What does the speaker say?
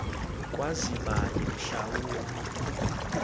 kwazi bani mhlawumbe